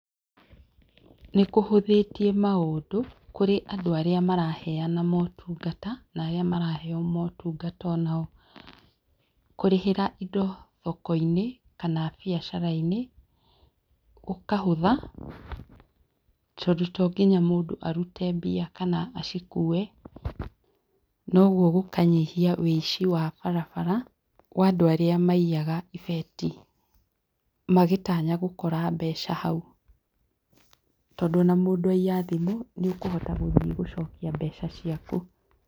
Nĩkũhũthĩtie maũndũ kũrĩ andũ arĩa maraheana maũtungata, na arĩa maraheo maũtungata o nao. Kũrĩhĩra indo thoko-inĩ, kana mbiacara-inĩ gũkahũtha, tondũ to ngĩnya mũndũ arute mbia kana acikue, na ũguo gũkanyihia ũici wa barabara, wa andũ arĩa maiyaga ibeti, magĩtanya gũkora mbeca hau. Tondũ o na mũndu aiya thimũ, nĩ ũkũhota gũthiĩ gũcokia mbeca ciaku.